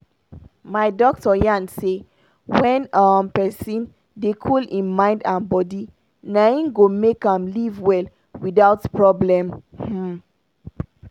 my doctor yarn say when um pesin dey cool hin mind and body na hin go make am live well without problem. um